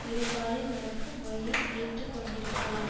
இருகாலில் நடக்கும் முறையை ஏற்று கொண்டிருக்கலாம்